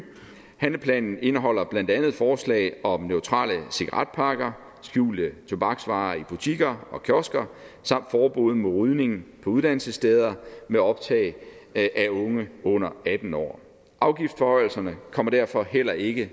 handleplanen indeholder blandt andet forslag om neutrale cigaretpakker skjulte tobaksvarer i butikker og kiosker samt forbud mod rygning på uddannelsessteder med optag af unge under atten år afgiftsforhøjelserne kommer derfor heller ikke